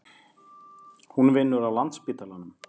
Hún vinnur á Landspítalanum.